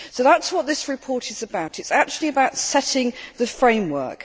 So that is what this report is about it is actually about setting the framework.